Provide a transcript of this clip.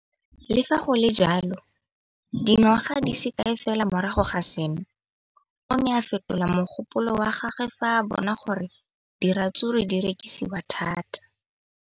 Le fa go le jalo, dingwaga di se kae fela morago ga seno, o ne a fetola mogopolo wa gagwe fa a bona gore diratsuru di rekisiwa thata.